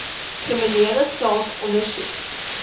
kriminele saak ondersoek